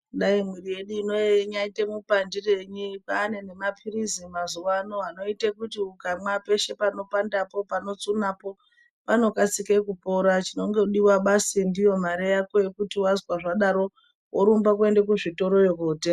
Dai mwiri yedu inoyi inyaite mupandirei paane mapilizi mazuwaano anoite kuti ukamwa peshe panopandapo panotsunapo panokasike kupora chinongodiwa basi ndiyo mare yako yekuti wazwa zvadaro worumbe kuende kuzvitoroyo kootenga.